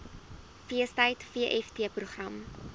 feestyd vft program